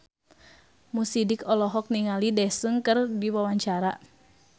Mo Sidik olohok ningali Daesung keur diwawancara